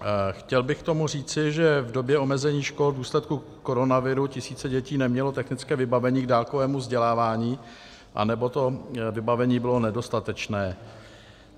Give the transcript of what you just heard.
Chtěl bych k tomu říci, že v době omezení škol v důsledku koronaviru tisíce dětí neměly technické vybavení k dálkovému vzdělávání anebo to vybavení bylo nedostatečné.